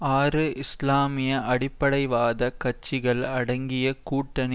ஆறு இஸ்லாமிய அடிப்படைவாத கட்சிகள் அடங்கிய கூட்டணி